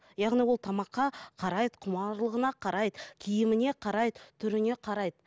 яғни ол тамаққа қарайды құмарлығына қарайды киіміне қарайды түріне қарайды